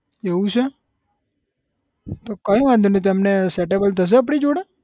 એવું છે તો કાઈ વાંધો નઈ તો એમને setable થશે આપડી જોડે?